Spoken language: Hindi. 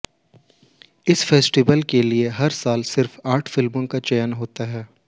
इस फेस्टिवल के लिए हर साल सिर्फ आठ फिल्मों का चयन होता हैं